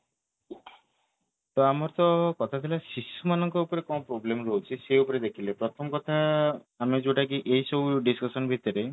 ତ ଆମର ତ କଥା ଥିଲା ଶିଶୁ ମାନଙ୍କ ଉପରେ କଣ problem ରହୁଛି ସେଇ ଉପରେ ଦେଖିଲେ ପ୍ରଥମ କଥା ଆମେ ଯୋଉଟା କି ଏଇ ସବୁ discussion ଭିତରେ